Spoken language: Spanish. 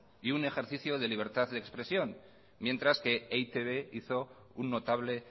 y un ejercicio de libertad de expresión mientras que e i te be hizo un notable